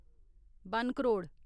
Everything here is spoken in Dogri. वन करोड़